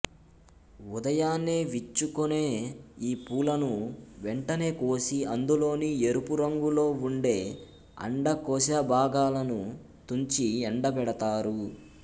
ఉదయాన్నే విచ్చుకునే ఈ పూలను వెంటనే కోసి అందులోని ఎరుపురంగులో ఉండే అండకోశభాగాలను తుంచి ఎండబెడతారు